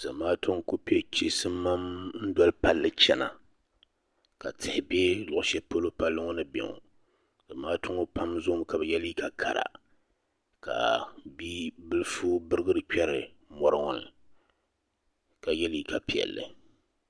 Zamaatu n ku piɛ chisimam n doli palli chana ka tihi bɛ luɣushɛli polo palli ŋɔ ni bɛ ŋɔ zamaatu pam zoo mi ka bi yɛ liiga kara ka bia bilifu birigiri kperi mɔri ŋɔ ni ka yɛ liiga piɛlli.